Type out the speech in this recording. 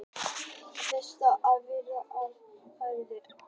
í logni gátu slík fyrirbæri verið sýnileg úr nokkurra sjómílna fjarlægð